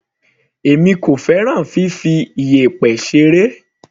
Èmi kò fẹ́ràn fifi iyẹ̀pẹ̀ ṣeré.